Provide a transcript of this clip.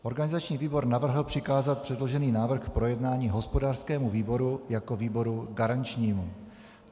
Organizační výbor navrhl přikázat předložený návrh k projednání hospodářskému výboru jako výboru garančnímu.